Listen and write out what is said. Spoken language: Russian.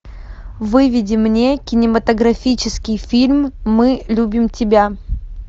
выведи мне кинематографический фильм мы любим тебя